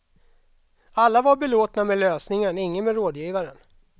Alla var belåtna med lösningen, ingen med rådgivaren.